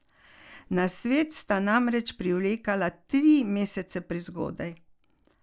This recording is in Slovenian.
Na svet sta namreč privekala tri mesece prezgodaj.